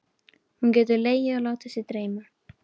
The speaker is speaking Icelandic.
Hún getur legið og látið sig dreyma.